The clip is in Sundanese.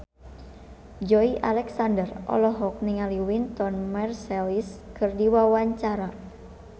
Joey Alexander olohok ningali Wynton Marsalis keur diwawancara